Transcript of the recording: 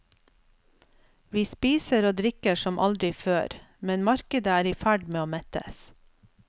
Vi spiser og drikker som aldri før, men markedet er i ferd med å mettes.